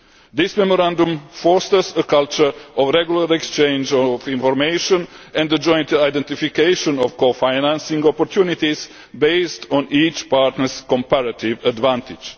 This Memorandum fosters a culture of regular exchange of information and the joint identification of co financing opportunities based on each partner's comparative advantage.